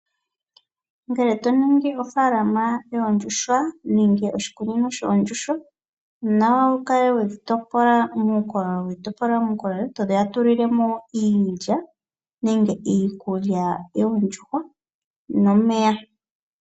Ngele to ningi ofaalama yoondjuhwa nenge oshikuku shoondjuhwa, onawa wu kale we dhi topola muukololo to dhi tulile mo iilya nenge iikulya yoondjuhwa nomeya.